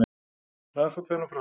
Rannsókn fer nú fram